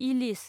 इलिस